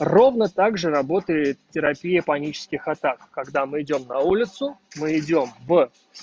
ровно также работает терапия панических атак когда мы идём на улицу мы идём в